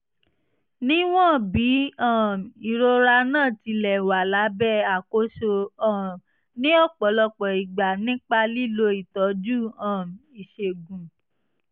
níwọ̀n bí um ìrora náà ti lè wà lábẹ́ àkóso um ní ọ̀pọ̀lọpọ̀ ìgbà nípa lílo ìtọ́jú um ìṣègùn